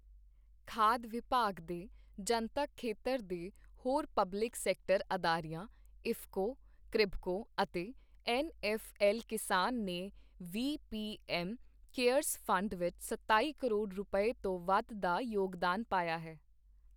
ਖਾਦ ਵਿਭਾਗ ਦੇ ਜਨਤਕ ਖੇਤਰ ਦੇ ਹੋਰ ਪਬਲਿਕ ਸੈਕਟਰ ਅਦਾਰਿਆਂ, ਇਫ਼ਕੋ, ਕ੍ਰਿਭਕੋ ਅਤੇ ਐੱਨ ਐੱਫ਼ ਐੱਲ ਕਿਸਾਨ ਨੇ ਵੀ ਪੀ ਐੱਮ ਕੇਅਰਸ ਫ਼ੰਡ ਵਿਚ ਸਤਾਈ ਕਰੋੜ ਰੁਪਏ, ਤੋਂ ਵੱਧ ਦਾ ਯੋਗਦਾਨ ਪਾਇਆ ਹੈ।